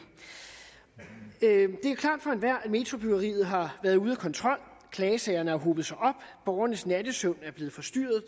er at metrobyggeriet har været ude af kontrol klagesagerne har hobet sig op borgernes nattesøvn er blevet forstyrret